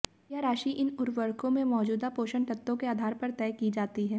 यह राशि इन उर्वरकों में मौजूदा पोषण तत्वों के आधार पर तय की जाती है